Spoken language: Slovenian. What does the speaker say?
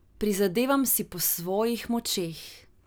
Prizadevam si po svojih močeh.